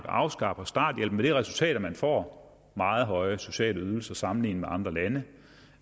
afskaffer starthjælpen med det resultat at man får meget høje sociale ydelser sammenlignet med andre lande